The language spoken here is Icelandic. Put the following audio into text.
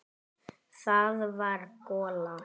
Það var gola.